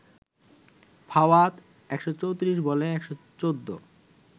ফাওয়াদ ১৩৪ বলে ১১৪